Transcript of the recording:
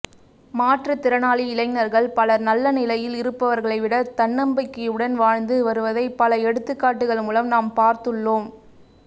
மாற்றுத்திறனாளி இளைஞர்கள் பலர் நல்ல நிலையில் இருப்பவர்களை விட தன்னம்பிக்கையுடன் வாழ்ந்து வருவதை பல எடுத்துக்காட்டுக்கள் மூலம் நாம் பார்த்துள்ளோஒம்